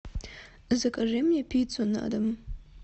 закажи мне пиццу на дом